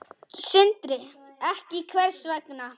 Sindri: Ekki, hvers vegna?